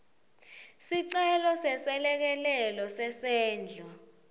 sicelo seselekelelo sesendlo